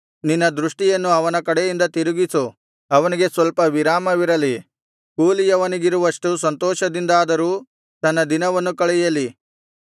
ನಿನ್ನ ದೃಷ್ಟಿಯನ್ನು ಅವನ ಕಡೆಯಿಂದ ತಿರುಗಿಸು ಅವನಿಗೆ ಸ್ವಲ್ಪ ವಿರಾಮವಿರಲಿ ಕೂಲಿಯವನಿಗಿರುವಷ್ಟು ಸಂತೋಷದಿಂದಾದರೂ ತನ್ನ ದಿನವನ್ನು ಕಳೆಯಲಿ